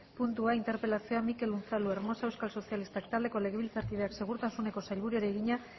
puntua interpelazioa mikel unzalu hermosa euskal sozialistak taldeko legebiltzarkideak segurtasuneko sailburuari egina